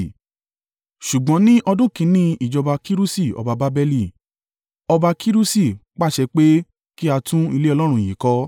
“Ṣùgbọ́n ní ọdún kìn-ín-ní ìjọba Kirusi ọba Babeli, ọba Kirusi pàṣẹ pé kí a tún ilé Ọlọ́run yìí kọ́.